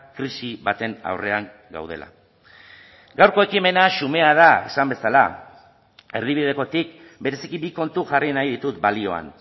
krisi baten aurrean gaudela gaurko ekimena xumea da esan bezala erdibidekotik bereziki bi kontu jarri nahi ditut balioan